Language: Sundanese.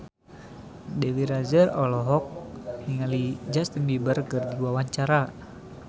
Dewi Rezer olohok ningali Justin Beiber keur diwawancara